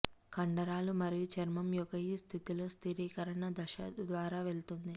కండరాలు మరియు చర్మం యొక్క ఈ స్థితిలో స్థిరీకరణ దశ ద్వారా వెళుతుంది